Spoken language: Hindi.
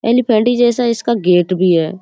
एलिफैन्ट ही जैसा इसका गेट भी है।